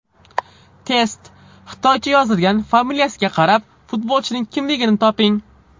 Test: Xitoycha yozilgan familiyasiga qarab, futbolchining kimligini toping !